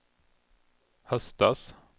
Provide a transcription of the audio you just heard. höstas